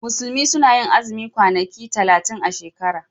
Musulmi suna yin azumin kwanaki talatin a shekara.